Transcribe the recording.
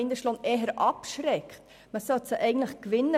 Man sollte sie für solche Anliegen eher gewinnen.